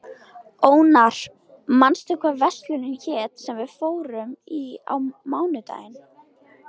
Ónar, manstu hvað verslunin hét sem við fórum í á mánudaginn?